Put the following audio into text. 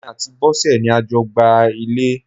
Èmi àti Bosẹ̀ ni a jọ gbá ilẹ̀.